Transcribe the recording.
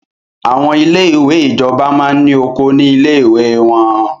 Àwọn ilé ìwé ìjọba máa ní oko ní ilé ìwé wọ́n.